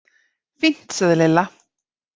Fínt sagði Lilla.